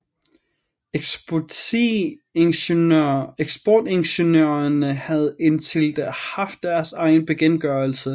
Eksportingeniørerne havde indtil da haft deres egen bekendtgørelse